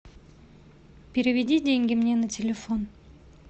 переведи деньги мне на телефон